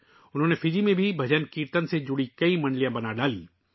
انہوں نے فجی میں بھجن کیرتن سے وابستہ کئی منڈلیاں بھی بنائیں